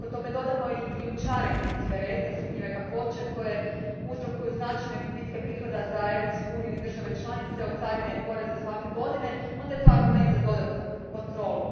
A ako tome dodamo i krijumčarenje cigareta sumnjive kakvoće koje uzrokuju značajne gubitke prihoda za Europsku uniju i države članice, od carina i poreza svake godine, onda je to argument za dodatnu kontrolu.